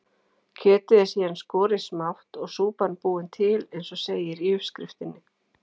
Kjötið er síðan skorið smátt og súpan búin til eins og segir í uppskriftinni.